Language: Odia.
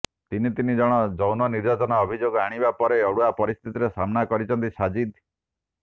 ତିନି ତିନି ଜଣ ଯୌନ ନିର୍ଯାତନା ଅଭିଯୋଗ ଆଣିବା ପରେ ଅଡ଼ୁଆ ପରିସ୍ଥିତିର ସାମ୍ନା କରିଛନ୍ତି ସାଜିଦ୍